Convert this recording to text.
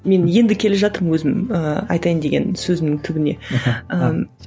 мен енді келе жатырмын өзім ііі айтайын деген сөзімнің түбіне ііі